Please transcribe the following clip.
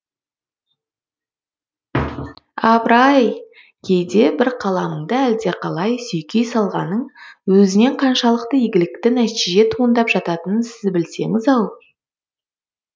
апыр ай кейде бір қаламыңды әлдеқалай сүйкей салғанның өзінен қаншалықты игілікті нәтиже туындап жататының сіз білсеңіз ау